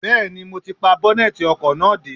Bẹẹni, mo ti pa bọ́nẹ́tì ọkọ̀ náà dé.